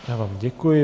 Já vám děkuji.